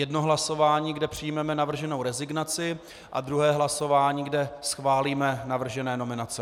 Jedno hlasování, kde přijmeme navrženou rezignaci, a druhé hlasování, kde schválíme navržené nominace.